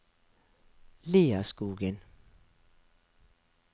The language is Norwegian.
Lierskogen